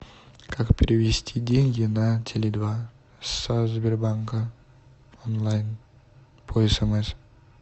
как перевести деньги на теле два со сбербанка онлайн по смс